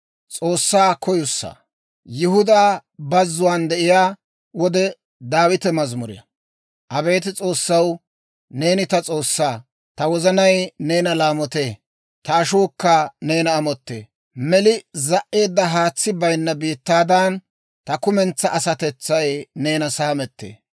Abeet S'oossaw, neeni ta S'oossaa; ta wozanay neena laamotee; ta ashuukka neena amottee. Meli za"eedda, haatsi bayinna biittaadan ta kumentsaa asatetsay neena saamettee.